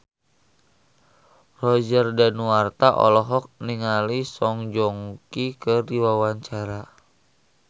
Roger Danuarta olohok ningali Song Joong Ki keur diwawancara